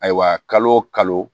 Ayiwa kalo kalo